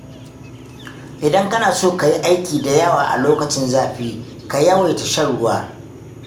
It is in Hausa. Idan kana so ka yi aiki da yawa a lokacin zafi, ka yawaita shan ruwa.